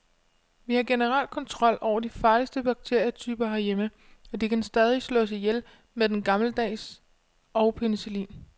Vi har generelt kontrol over de farligste bakterietyper herhjemme, og de kan stadig slås ihjel med den gammeldags og penicillin.